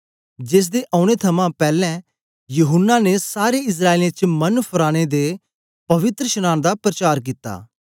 जेसदे औने थमां पैलैं यूहन्ना ने सारे इस्राएलियें च मन फराने दे पवित्रशनांन दा परचार कित्ता